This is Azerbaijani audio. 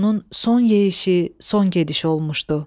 Bu onun son yeyişi, son gedişi olmuşdu.